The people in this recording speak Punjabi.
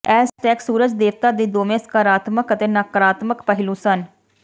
ਐਜ਼ਟੈਕ ਸੂਰਜ ਦੇਵਤਾ ਦੇ ਦੋਵੇਂ ਸਕਾਰਾਤਮਕ ਅਤੇ ਨਕਾਰਾਤਮਕ ਪਹਿਲੂ ਸਨ